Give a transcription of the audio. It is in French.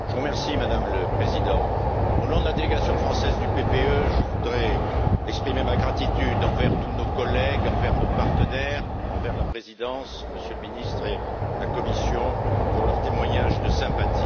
Madame le Président, au nom de la délégation française du groupe du parti populaire européen, je voudrais exprimer ma gratitude envers tous nos collègues, envers nos partenaires, envers la présidence, Monsieur le Ministre, et la Commission pour leurs témoignages de sympathie.